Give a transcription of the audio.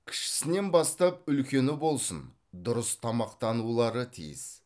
кішісінен бастап үлкені болсын дұрыс тамақтанулары тиіс